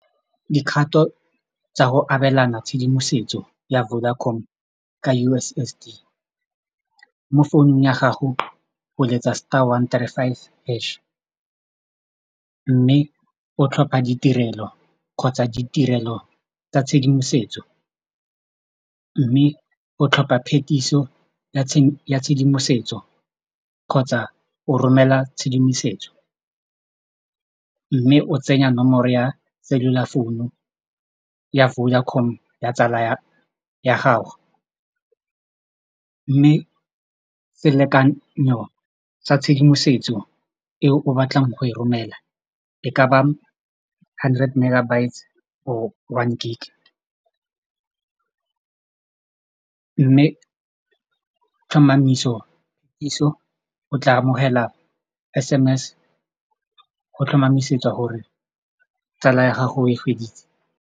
Dikgato tsa go abelana tshedimosetso ya Vodacom ka U_S_S_D mo founung ya gago o letsa star one three five hash mme o tlhopa ditirelo kgotsa ditirelo tsa tshedimosetso mme o tlhopa phetiso ya tshedimosetso kgotsa o romela tshedimosetso mme o tsenya nomoro ya cellular founu ya Vodacom ya tsala ya gago mme selekanyo sa tshedimosetso e o batlang go e romela e ka ba hundred megabytes or one gig mme tlhomamisopuso o tla amogela S_M_S go tlhomamisetsa gore tsala ya gago e feditse.